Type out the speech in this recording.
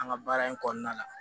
An ka baara in kɔnɔna la